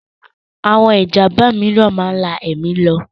Àwon Ìjàmba mìíràn máa ń lá èmi lọ